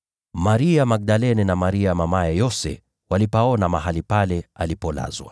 Maria Magdalene na Maria mamaye Yose walipaona mahali pale alipolazwa.